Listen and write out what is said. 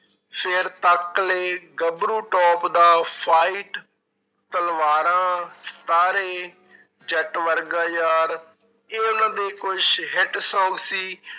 ਗੱਭਰੂ top ਦਾ fight ਤਲਵਾਰਾਂ, ਸਤਾਰੇ, ਜੱਟ ਵਰਗਾ ਯਾਰ, ਇਹ ਉਹਨਾਂ ਦੇ ਕੁਛ hit songs ਸੀ।